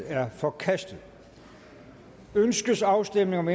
er forkastet ønskes afstemning om